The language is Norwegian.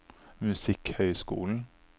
musikkhøyskolen